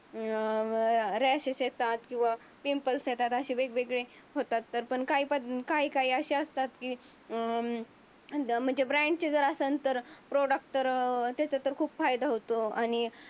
ऱ्याशेष येतात कीव्हा पिंपल्स येतात. असे वेगळे होतात पण काही काही असे असतात. की अं ब्रँडचे जर असेल तर प्रॉडक्ट तर त्याच्या तर खूप फायदा होतो आणि